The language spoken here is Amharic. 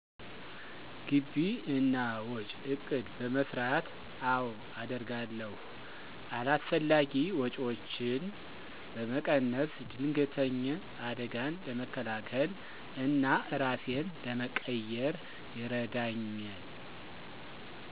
ግቢ እና ወጭ እቅድ በመሰራት። አወ አደርጋለሁ። አላስፈላጊ ወጪወችን በመቀነስ። ድንገተኝ አደጋን ለመከላከል እና እራሴን ለመቅየር ይረዳኝል።